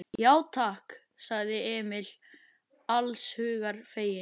Já, takk, sagði Emil alls hugar feginn.